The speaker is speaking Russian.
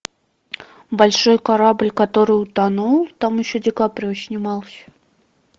большой корабль который утонул там еще ди каприо снимался